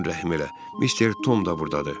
Mister Tom da burdadır.